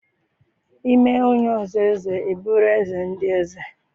I mee onye ọzọ eze ịbụrụ eze ndị eze.